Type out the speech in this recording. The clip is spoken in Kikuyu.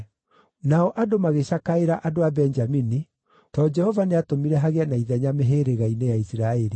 Nao andũ magĩcakaĩra andũ a Benjamini, tondũ Jehova nĩatũmire hagĩe na ithenya mĩhĩrĩga-inĩ ya Isiraeli.